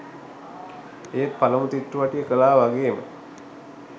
ඒත් පළමු චිත්‍රපටිය කළා වගේම